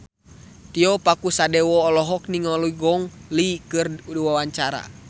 Tio Pakusadewo olohok ningali Gong Li keur diwawancara